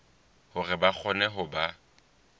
hore ba kgone ho ba